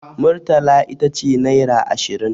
Murtala ita ce naira ashirin.